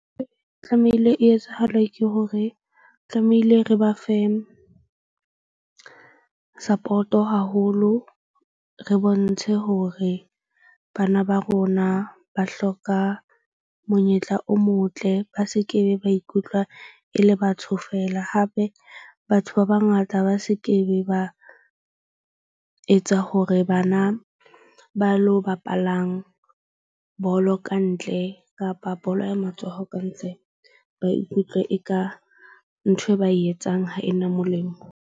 E tlamehile e etsahale ke hore tlamehile re ba fe support-o haholo re bontshe hore bana ba rona ba hloka monyetla o motle. Ba se ke be ba ikutlwa e le batho feela. Hape batho ba bangata ba se ke be ba etsa hore bana ba lo bapalang bolo kantle, kapa bolo ya matsoho ba ikutlwe eka nthwe ba e etsang ha ena molemo.